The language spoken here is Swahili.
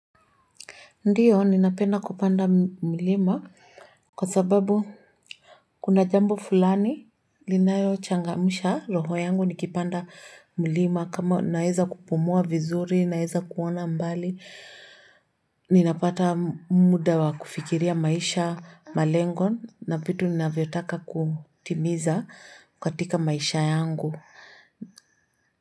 Ndio, ninapenda kupanda mlima kwa sababu kuna jambo fulani linayo changamsha roho yangu nikipanda mlima kama naweza kupumua vizuri, naweza kuona mbali. Ninapata muda wa kufikiria maisha malengo na vitu ninavyotaka kutimiza katika maisha yangu.